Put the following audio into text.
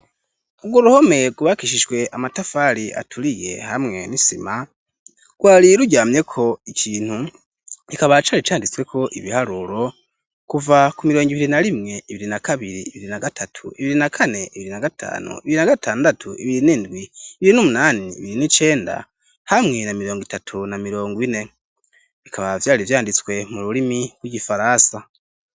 Urwo ruhome rwubakishijwe amatafari aturiye hamwe n'isima rwari ruryamyeko ikintu kikaba cari canditsweko ibiharuro kuva ku mirongo ibiri na rimwe, ibiri na kabiri, ibiri na gatatu, ibiri na kane, ibiri na gatanu, ibiri na gatandatu, ibiri n'indwi, ibiri n'umunani, ibiri n'icenda hamwe na mirongo itatu na mirongo ine bikaba vyari vyanditswe mu rurimi rw'igifaransa.